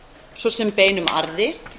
svo sem beinum arði